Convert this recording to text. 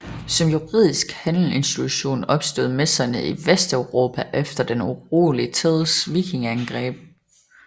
Som juridisk handelsinstitution opstod messerne i Vesteuropa efter den urolig tids vikingeangreb